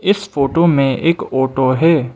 इस फोटो में एक ऑटो है।